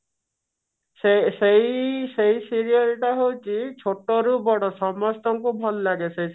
ସେ ସେଇ ସେଇ serial ଟା ହଉଛି ଛୋଟରୁ ବଡ ସମସ୍ତଙ୍କୁ ଭଲ ଲାଗେ ସେଇଟା